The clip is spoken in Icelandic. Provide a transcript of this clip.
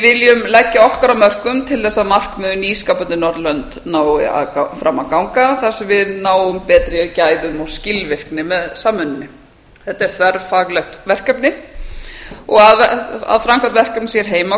við viljum leggja okkar af mörkum til þess að markmið um nýskapandi norðurlönd nái fram að ganga þar sem við náum betri gæðum og skilvirkni með samvinnunni þetta er þverfaglegt verkefni og að framkvæmd verkefnisins hér heima